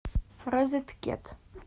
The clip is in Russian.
розеткед